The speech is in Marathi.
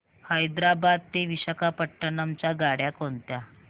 हैदराबाद ते विशाखापट्ण्णम च्या गाड्या कोणत्या